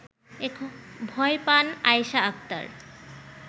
ভয় পান আয়েশা আক্তার